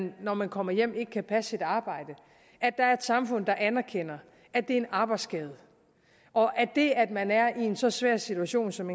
når man kommer hjem ikke kan passe sit arbejde er et samfund der anerkender at det er en arbejdsskade og at det at man er i en så svær situation som